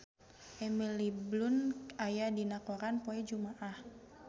Emily Blunt aya dina koran poe Jumaah